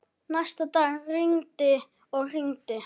Næsta dag rigndi og rigndi.